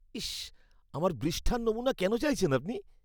ইস! আমার বৃষ্ঠার নমুনা কেন চাইছেন আপনি?